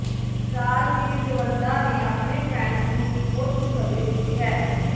ਰਾਜਵੀਰ ਜਵੰਦਾ ਨੇ ਆਪਣੇ ਫੈਨਜ਼ ਨੂੰ ਇੱਕ ਹੋਰ ਖੁਸ਼ਖਬਰੀ ਦਿੱਤੀ ਹੈ